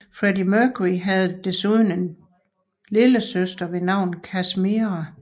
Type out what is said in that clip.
Freddie Mercury havde desuden en lillesøster ved navn Kashmira